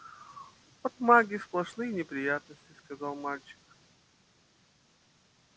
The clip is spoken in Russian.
от магии сплошные неприятности сказал мальчик